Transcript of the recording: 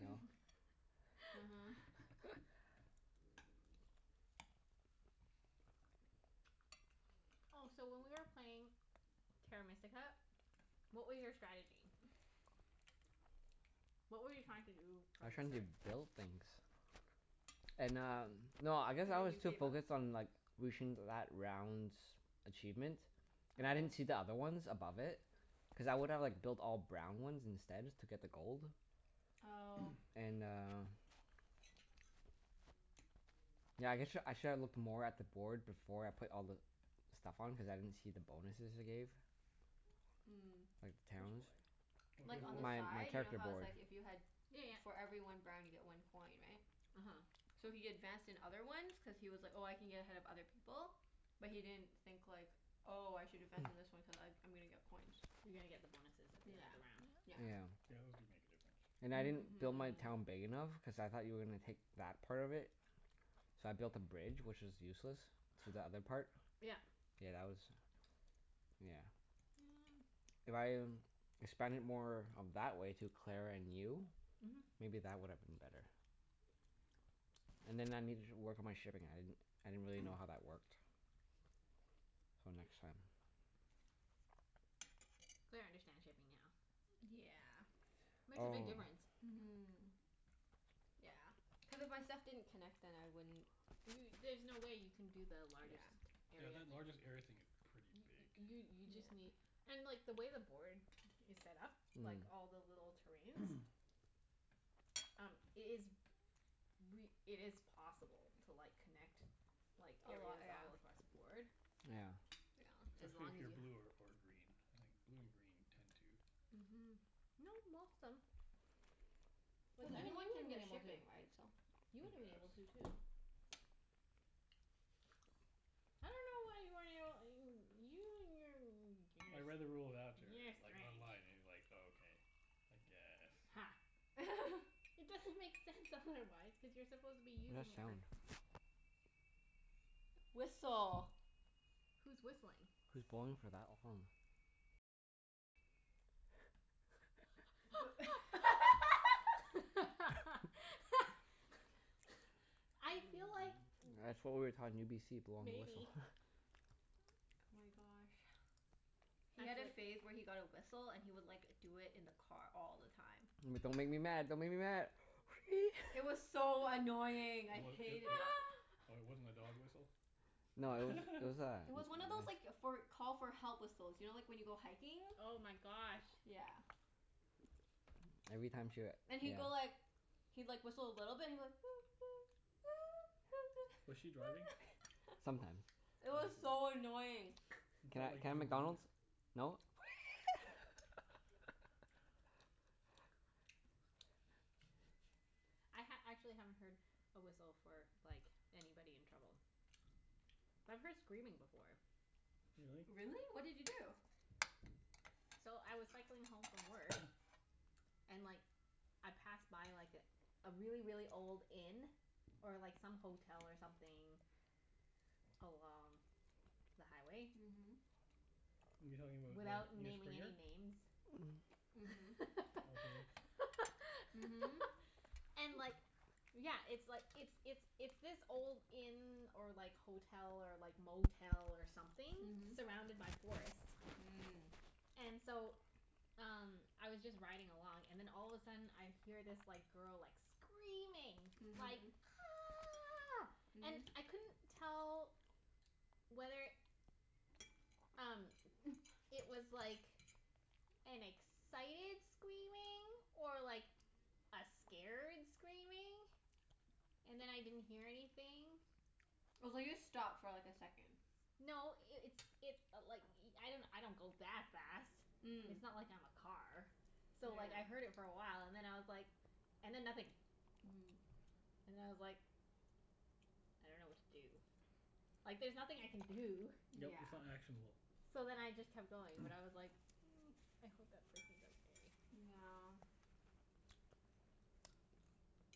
No? Oh, so when we were playing Terra Mystica, what were your strategy? uh-huh. What were you trying to do I from was the trying to start? build things. And um, no, I guess And I then was you too gave up? focused on like reaching that round's achievement. And I didn't Oh. see the other ones above it. Cuz I would've like built all brown ones instead, just to get the gold. Oh. And uh yeah I guess sh- I should have looked more at the board before I put all the stuff on, cuz I didn't see the bonuses it gave. Mm. Like, Which towns. board? Like, on the My my side. You know character how it's board. like if you had Yeah yeah. for every one brown you get one coin, right? uh-huh. So he advanced in other ones cuz he was like, "Oh, I can get ahead of other people." But he didn't think, like "Oh, I should advance in this one cuz I I'm gonna get coins." You're gonna get the bonuses at the end of Yeah, the round. yeah. Yeah, those do make a difference. Yeah. And I didn't build my town big enough, cuz I thought you were gonna take that part of Mhm. it. So I built a bridge, which is useless. To the other part. Yeah. Yeah, that was, yeah. If I expanded more of that way to Claire and you Mhm. maybe that would have been better. And then I Yeah. needed to work on my shipping. I didn't I didn't really know how that worked. So, next time. Claire understands shipping now. D- yeah. Makes a Oh. big difference. Mhm. Yeah. Cuz if my stuff didn't connect then I wouldn't Do y- there's no way you can do the largest Yeah. Yeah, area that thing. largest area thing is pretty big. You you just Yeah. need and like, the way the board is set up like all the little terrains Um, it is Mm. re- it is possible to like, connect like, A lot, areas yeah. all Yeah. across the board. Yeah. As Especially long if as you're you blue ha- or or green, I think. Blue and green tend to Mhm. No, most them. Like, Cuz even you anyone can would've been get able to. shipping, right? So You tend would've to been able have to, too. I dunno why you weren't able you you and your n- I beginners. read You're a like strange. online, and like, okay. I guess. Ha. It doesn't make sense, otherwise. Cuz you're supposed to be What that using it for sound? Whistle. Who's whistling? Who's blowing for that long? I feel like That's what we were taught in UBC. Blowing the whistle. Maybe. Oh my gosh. He had a Actually phase where he got a whistle and he would like, do it in the car all the time. But don't make me mad. Don't make me mad. Wee! It was so annoying. It I w- w- hated w- it. oh, it wasn't a dog whistle? No, it was, it was It was one of a those like, for call for help whistles. You know, like when you go hiking? Oh my gosh. Yeah. Every time she w- And he'd go yeah. like he'd like, whistle a little bit. He'd be like Was she driving? Sometimes. It I was see. so annoying. He Can felt I can like I he have was in McDonald's? danger. No? I ha- actually haven't heard a whistle for like, anybody in trouble. But I've heard screaming before. Really? Really? What did you do? So, I was cycling home from work and like I passed by like a really, really old inn. Or like some hotel or something along the highway. Mhm. You talking about? Without naming any names. Mhm. Okay. And like Yeah, it's like, Mhm. it's it's it's this old inn or like hotel, or like motel, or something surrounded by forest. Mhm. And so, um Mm. I was just riding along and then all of a sudden I hear this like, girl like, screaming. Like Mhm. "Ah!" And I couldn't tell whether Mhm. um, it was like an excited screaming or like, a scared screaming. And then I didn't hear anything. I was like, just stop for like, a second. No, it it's it i- like i- I don't go that fast. Mm. It's not like I'm a car. So like, I heard it for a while and then I was like and then nothing. And I was like I don't know what to do. Like, there's nothing I can do. Yeah. Mm. Yep, Yeah. it's not actionable. So then I just kept going, but I was like mm, I hope that person's okay. Yeah.